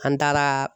An taara